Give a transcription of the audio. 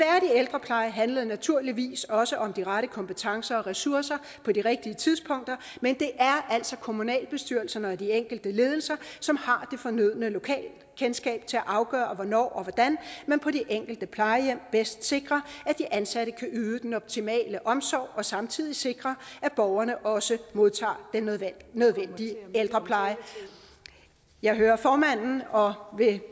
ældrepleje handler naturligvis også om de rette kompetencer og ressourcer på de rigtige tidspunkter men det er altså kommunalbestyrelserne og de enkelte ledelser som har det fornødne lokalkendskab til at afgøre hvornår og hvordan man på de enkelte plejehjem bedst sikrer at de ansatte kan yde den optimale omsorg og samtidig sikrer at borgerne også modtager den nødvendige ældrepleje jeg hører formanden og vil